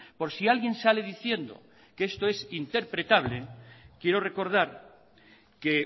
por si alguien sale diciendo que esto es interpretable quiero recordar que